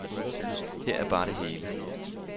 Her er bare det hele.